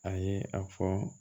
A ye a fɔ